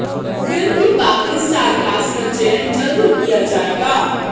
film की बाकी star cast का चयन जल्द ही किया जाएगा